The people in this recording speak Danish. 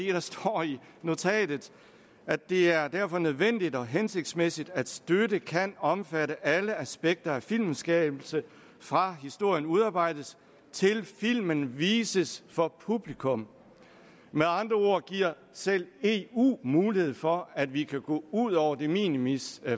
der står i notatet at det er derfor nødvendigt og hensigtsmæssigt at støtte kan omfatte alle aspekter af filmskabelse fra historien udarbejdes til filmen vises for publikum med andre ord giver selv eu mulighed for at vi kan gå ud over de minimis